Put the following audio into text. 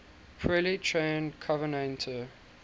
poorly trained covenanter